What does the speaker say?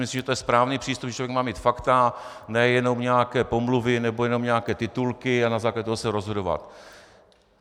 Myslím, že to je správný přístup, že člověk má mít fakta, ne jenom nějaké pomluvy nebo jenom nějaké titulky a na základě toho se rozhodovat.